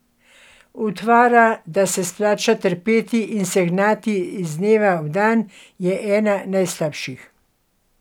Utvara, da se splača trpeti in se gnati iz dneva v dan, je ena najslabših.